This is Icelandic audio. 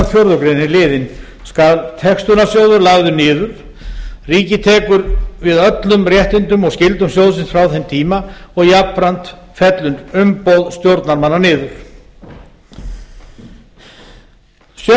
fjórðu grein er liðinn skal textunarsjóður lagður niður ríkið tekur við öllum réttindum og skyldum sjóðsins frá þeim tíma jafnframt fellur umboð stjórnarmanna niður